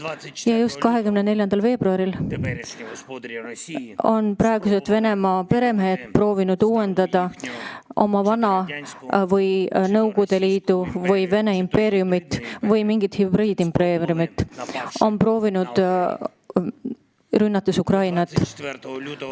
Ja just 24. veebruaril proovisid praegused Venemaa peremehed taastada vana Nõukogude Liitu või Vene impeeriumi või mingit hübriidimpeeriumi, rünnates Ukrainat.